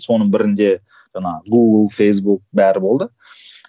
соның бірінде жаңа гугл фейсбук бәрі болды